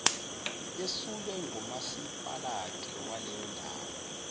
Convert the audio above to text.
yesulwe ngumasipalati waleyondawo